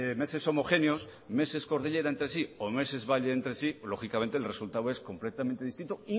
meses homogéneos meses cordillera entre sí o meses valle entre sí lógicamente el resultado es completamente distinto